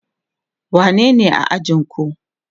wanne ne ajinku?